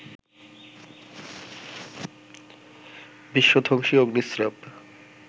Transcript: বিশ্ব-ধ্বংসী অগ্নিস্রাব